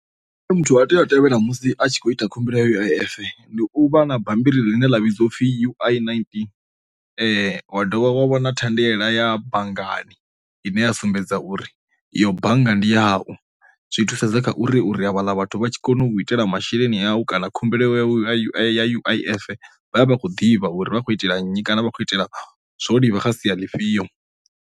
Muthu a tea u a tevhela musi a tshi kho ita khumbelo ya U_I_F ndi uvha na bammbiri ḽine ḽa vhidziwa upfhi U_I nineteen, wa dovha wa vhona thendela ya banngani ine a sumbedza uri yo bannga ndi yau, zwi thusedza kha uri uri havhaḽa vhathu vha tshi kone u itela masheleni awu kana khumbelo ya ui ya U_I_F vha vhe vha khou ḓivha uri vha khou itela nnyi kana vha khou itela zwo livha kha sia ḽifhio.